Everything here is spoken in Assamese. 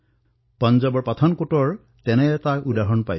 পাঞ্জাৱৰ পাঠানকোটৰ পৰা এনে এক উদাহৰণ সকলোৰে চকুত পৰিছে